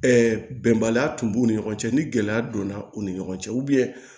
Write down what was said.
bɛnbaliya tun b'u ni ɲɔgɔn cɛ ni gɛlɛya donna u ni ɲɔgɔn cɛ